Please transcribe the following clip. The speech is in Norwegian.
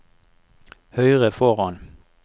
høyre foran